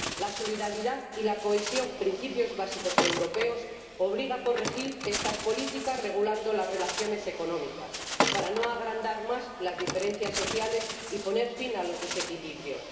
La solidaridad y la cohesión, principios básicos europeos, obligan a corregir estas políticas regulando las relaciones económicas, para no agrandar más las diferencias sociales y poner fin a los desequilibrios.